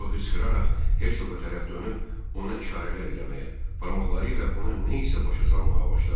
Sonra hıçqıraraq Hersoqa tərəf dönüb ona işarələr eləməyə, barmaqları ilə ona nə isə başa salmağa başladı.